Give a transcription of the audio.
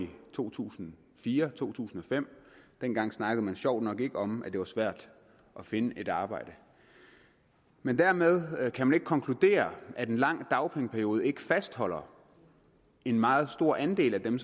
to tusind og fire og to tusind og fem dengang snakkede man sjovt nok ikke om at det var svært at finde et arbejde men dermed kan man ikke konkludere at en lang dagpengeperiode ikke fastholder en meget stor andel af dem